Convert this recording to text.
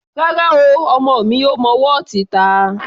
Rárá o, ọmọ mi ò mọ wọ́ọ̀tì ta.